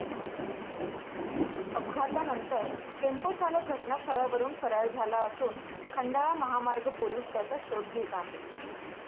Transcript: अपघातानंतर टेम्पो चालक घटनास्थळावरून फरार झाला असून खंडाळा महामार्ग पोलीस त्याचा शोध घेत आहे.